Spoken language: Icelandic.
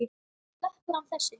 Sleppur hann þessi?